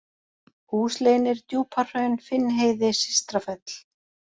Húsleynir, Djúpahraun, Finnheiði, Systrafell